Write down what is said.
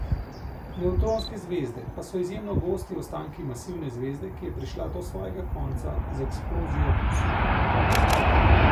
Nevtronske zvezde pa so izjemno gosti ostanki masivne zvezde, ki je prišla do svojega konca z eksplozijo supernove.